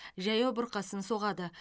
жаяу бұрқасын соғады